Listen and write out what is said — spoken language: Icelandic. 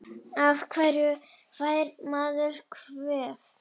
Af hverju fær maður kvef?